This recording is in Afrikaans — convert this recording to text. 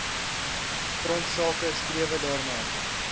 grondsake strewe daarna